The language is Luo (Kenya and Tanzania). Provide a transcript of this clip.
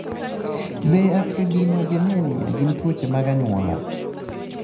Be afibrinogenemia gin tuoche mag onyuola?